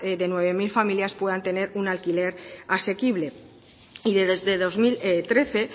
de nueve mil familias puedan tener un alquiler asequible y desde dos mil trece